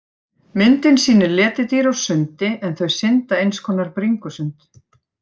Myndin sýnir letidýr á sundi en þau synda eins konar bringusund.